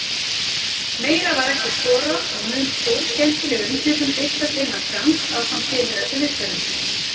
Meira var ekki skorað og mun stórskemmtileg umfjöllun birtast innan skamms ásamt tilheyrandi viðtölum.